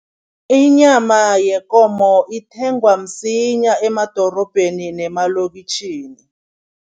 Inyama yekomo ithengwa msinya emadorobheni nemalokitjhini.